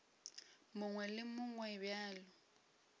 mongwe le wo mongwe bjalo